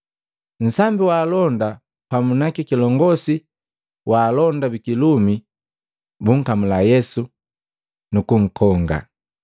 Nsambi wa alonda pamu na kilongosi jaalonda bikilumi bumkamula Yesu, nukunkonga,